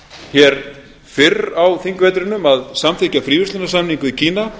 hér fyrr á þingvetrinum að samþykkja fríverslunarsamning við kína